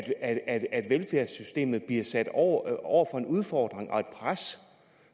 at at velfærdssystemet bliver sat over over for en udfordring og et pres